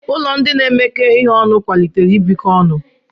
Ụlọ ndị na-emekọ ihe ọnụ kwalitere ibikọ ọnụ.